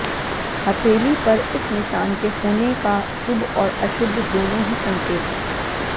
हथेली पर इस निशान के होने का शुभ और अशुभ दोनों ही संकेत हैं